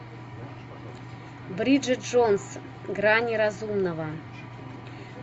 бриджит джонс грани разумного